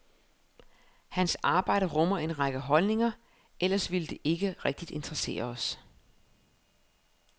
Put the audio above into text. Hans arbejde rummer en række holdninger, ellers ville det ikke rigtig interessere os.